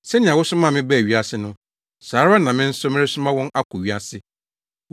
Sɛnea wosomaa me baa wiase no, saa ara na me nso meresoma wɔn akɔ wiase.